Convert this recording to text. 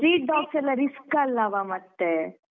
Street dogs ಎಲ್ಲ risk ಅಲ್ಲವಾ ಮತ್ತೆ.